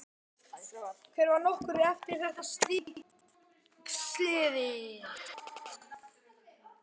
Þetta var nokkru eftir að þetta slys skeði.